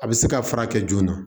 A bɛ se ka furakɛ joona